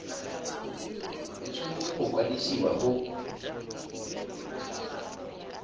e tshwanetse go kwadisiwa go